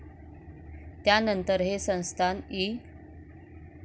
त्यानंतर हे संस्थान इ.